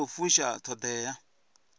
i tshi khou fusha ṱhoḓea